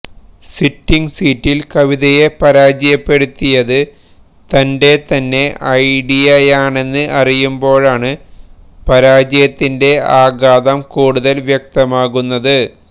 sitting സീറ്റില് കവിതയെ പരാജയപ്പെടുത്തിയത് തന്റെ തന്നെ ഐഡിയയാണെന്ന് അറിയുമ്പോഴാണ് പരാജയത്തിന്റെ ആഘാതം കുടുതല് വ്യക്തമാകുന്നത്